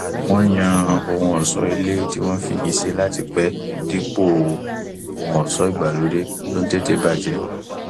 wọn yàn ohun ọṣọ ilé tí wọn fi igi ṣe láti pẹ dípò ohun ọṣọ ìgbàlóde tó tètè bàjẹ